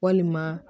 Walima